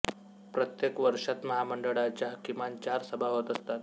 प्रत्येक वर्षात महामंडळाच्या किमान चार सभा होत असतात